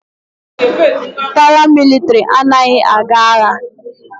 Paramilitary anaghị aga agha.